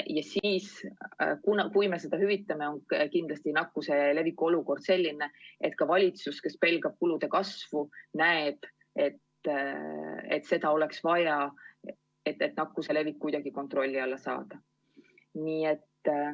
Ja siis, kui me seda hüvitame, on kindlasti nakkuse levik selline, et ka valitsus, kes pelgab kulude kasvu, näeb, et seda oleks vaja, et nakkuse levik kuidagi kontrolli alla saada.